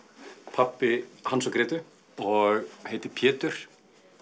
pabbi Hans og Grétu og heiti Pétur